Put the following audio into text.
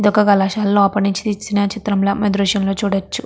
ఇదొక కళాశాల లోపలి నించి తీసిన దృశ్యం లా మనం ఈ దృశ్యం లో చూడచ్చు.